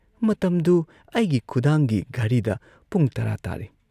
ꯃꯇꯝꯗꯨꯨ ꯑꯩꯒꯤ ꯈꯨꯗꯥꯡꯒꯤ ꯘꯔꯤꯗ ꯄꯨꯡ ꯇꯔꯥ ꯇꯥꯔꯦ ꯫